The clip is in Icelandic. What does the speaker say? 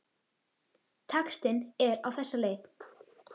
Textinn er á þessa leið